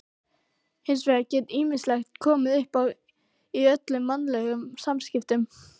Hins vegar geti ýmislegt komið uppá í öllum mannlegum samskiptum.